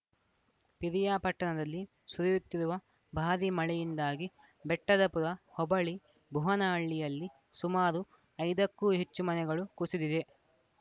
ಪಿರಿಯಾಪಟ್ಟಣದಲ್ಲಿ ಸುರಿಯುತ್ತಿರುವ ಭಾರೀ ಮಳೆಯಿಂದಾಗಿ ಬೆಟ್ಟದಪುರ ಹೊಬಳಿ ಭುವನಹಳ್ಳಿಯಲ್ಲಿ ಸುಮಾರು ಐದಕ್ಕೂ ಹೆಚ್ಚು ಮನೆಗಳು ಕುಸಿದಿದೆ